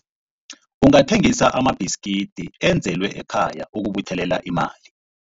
Ungathengisa amabhiskidi enzelwe ekhaya ukubuthelela imali.